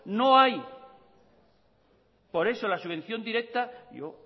no hay por eso la subvención directa yo